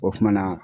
O kumana